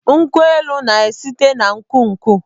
Nkwụ elu na-esite n'úkwù nkwụ.